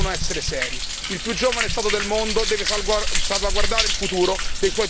Il più giovane Stato del mondo deve salvaguardare il futuro dei suoi più giovani cittadini.